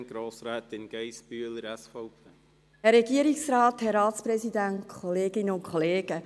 Ich erteile Grossrätin Geissbühler von der SVP als Einzelsprecherin das Wort.